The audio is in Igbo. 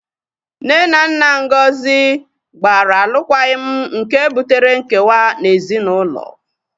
Nne na nna Ngozi gbara alụkwaghịm nke butere nkewa na ezinaụlọ